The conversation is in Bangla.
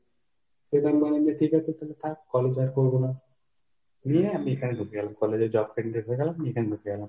সেজন্যই নে ঠিক আছে তাহলে থাক, college আর করব না। নিয়ে আমি এখানে ঢুকে গেলাম college আর job টা ended হয়ে গেল আমি এখানে ঢুকে গেলাম।